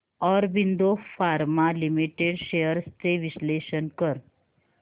Aurobindo pharma limited shares चे विश्लेषण कर